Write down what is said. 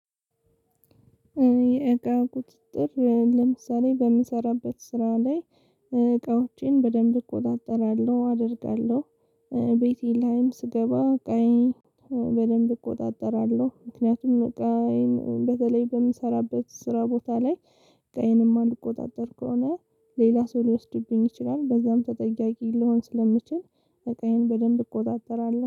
የእቃ ቁጥጥር ለምሳሌ በምሰራበት ስራ ላይ እቃዎቼን በደንብ እቆጣጠራለሁ፤ አደርጋለሁ። ቤቴ ላይም ስገባ እቃዬን በደንብ እቆጣጠራለሁ ምክንያቱም እቃዬን በተለይ በምሰራበት ስራ ቦታ ላይ እቃዬን እማልቆጣጠር ከሆነ ሌላ ሰው ሊወስድብኝ ይችላል በዛም ተጠያቂ ልሆን ስለምችል እቃዬን በደንብ እቆጣጠራለሁ።